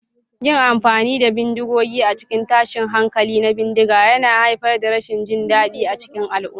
Yin amfani da bindigogi a cikin tashin hankali na bindiga yana haifar da rashin jin daɗi a cikin al'umma.